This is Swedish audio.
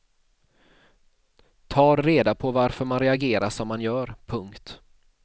Tar reda på varför man reagerar som man gör. punkt